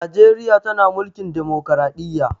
Najreriya tana mulkin dimokradiyya